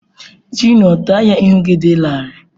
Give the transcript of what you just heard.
Junio, taya ihu gị dị larịị.